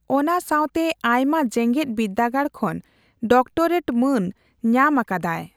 ᱚᱱᱟ ᱥᱟᱣᱛᱮ ᱟᱭᱢᱟ ᱡᱮᱜᱮᱛ ᱵᱤᱨᱫᱟᱹᱜᱟᱲ ᱠᱷᱚᱱ ᱰᱤᱠᱴᱚᱨᱮᱴ ᱢᱟᱺᱱ ᱧᱟᱢ ᱟᱠᱟᱫᱟᱭ᱾